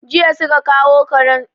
Jiya su ka kawo karen.